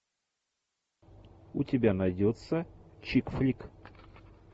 у тебя найдется чик флик